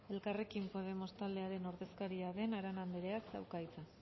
elkarrekin podemos taldearen ordezkaria den arana andereak dauka hitza